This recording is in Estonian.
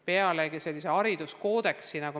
Põhilise, hariduskoodeksi me tegime eelmises Riigikogus ju korda.